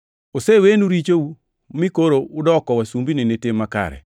Osewenu richou mi koro udoko wasumbini ni tim makare.